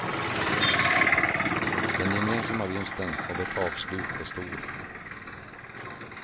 Den gemensamma vinsten av ett avslut är stor.